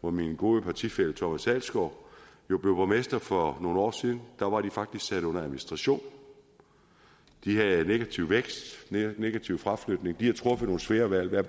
hvor min gode partifælle herre thomas adelskov jo blev borgmester for nogle år siden da var de faktisk sat under administration de havde en negativ vækst negativ fraflytning de har truffet nogle svære valg hvad